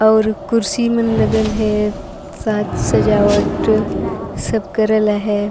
और कुर्सी मन लगल अहय सब साज - सजावट सब करल अहय।